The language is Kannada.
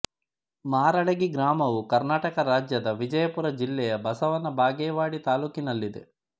ಮಾರಡಗಿ ಗ್ರಾಮವು ಕರ್ನಾಟಕ ರಾಜ್ಯದ ವಿಜಯಪುರ ಜಿಲ್ಲೆಯ ಬಸವನ ಬಾಗೇವಾಡಿ ತಾಲ್ಲೂಕಿನಲ್ಲಿದೆ